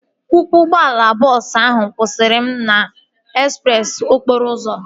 Ọkwọ ụgbọala bọọsu ahu kwụsara m n'ezpreesi okporo ụzọ